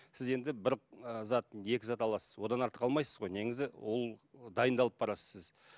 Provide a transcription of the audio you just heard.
сіз енді бір і зат екі зат аласыз одан артық алмайсыз ғой неңізді ол дайындалып барасыз сіз